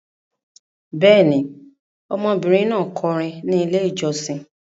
Bẹ́ẹ̀ ni, ọmọbìnrin náà kọrin ní Ilé-ìjọsìn.